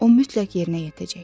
O mütləq yerinə yetəcək.